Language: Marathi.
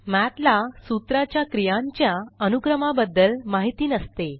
मठ ला सूत्रा च्या क्रियांच्या अनुक्रमाबद्दल माहिती नसते